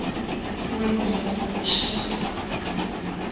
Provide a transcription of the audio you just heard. lwenene ukushenxisa ubumenemene